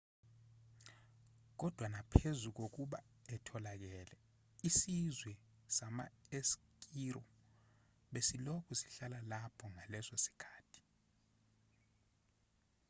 kodwa naphezu kokuba etholakele isizwe sama-eskiro besilokhu sihlala lapho ngaleso sikhathi